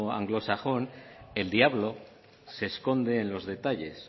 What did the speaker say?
anglosajón el diablo se esconde en los detalles